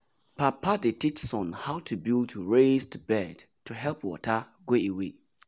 papa dey teach son how to build raised bed to help water go away.